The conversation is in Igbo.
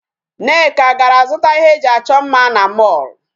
Nneka gara zụta ihe e ji achọ mma na mall.